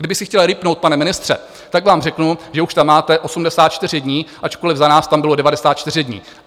Kdybych si chtěl rýpnout, pane ministře, tak vám řeknu, že už tam máte 84 dní, ačkoliv za nás tam bylo 94 dní.